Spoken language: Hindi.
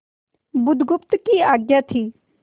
बुधगुप्त की आज्ञा थी